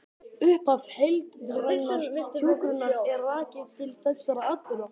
Upphaf heildrænnar hjúkrunar er rakið til þessara atburða.